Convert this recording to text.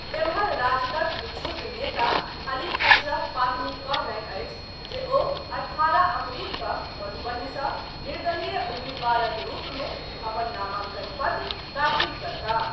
एम्हर, राजदक विक्षुब्ध नेता अली अशरफ फातमी कहलनि अछि जे ओ अठारह अप्रील कऽ मधुबनी सॅ निर्दलीय उम्मीदवारक रूप मे अपन नामांकन पत्र दाखिल करताह।